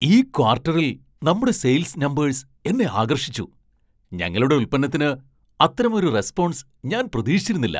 ഈ ക്വാർട്ടറിൽ നമ്മുടെ സെയിൽസ് നമ്പേഴ്സ് എന്നെ ആകർഷിച്ചു, ഞങ്ങളുടെ ഉൽപ്പന്നത്തിന് അത്തരമൊരു റെസ്പോൺസ് ഞാൻ പ്രതീക്ഷിച്ചിരുന്നില്ല.